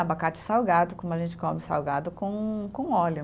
Abacate salgado, como a gente come salgado com com óleo.